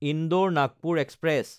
ইন্দোৰ–নাগপুৰ express